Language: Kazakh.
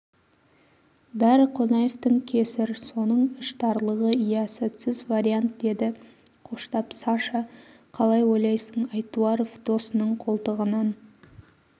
бәрі қонаевтың кесір соның іштарлығы иә сәтсіз вариант деді қоштап саша қалай ойлайсың айтуаров досының қолтығынан